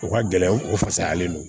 O ka gɛlɛn u fasalen don